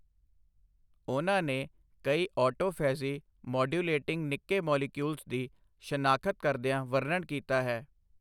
ਉਨ੍ਹਾਂ ਨੇ ਕਈ ਆਟੋਫ਼ੈਜੀ ਮੌਡਿਊਲੇਟਿੰਗ ਨਿੱਕੇ ਮੌਲੀਕਿਯੂਲਜ਼ ਦੀ ਸ਼ਨਾਖ਼ਤ ਕਰਦਿਆਂ ਵਰਨਣ ਕੀਤਾ ਹੈ।